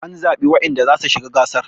an zaɓi wadanda za su shi ga gasar